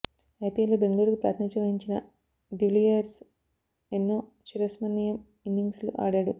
ఐపిఎల్లో బెంగళూరుకు ప్రాతినిథ్యం వహించిన డివిలియర్స్ ఎన్నో చిరస్మరణీయ ఇన్నిం గ్స్లు ఆడాడు